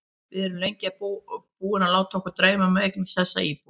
Við erum lengi búin að láta okkur dreyma um að eignast þessa íbúð.